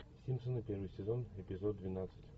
симпсоны первый сезон эпизод двенадцать